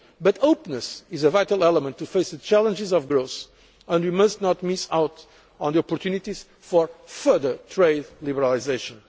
world. But openness is a vital element in facing the challenges of growth, and we must not miss out on the opportunities for further trade liberalisation.